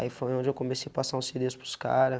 Aí foi onde eu comecei a passar um silêncio para os caras.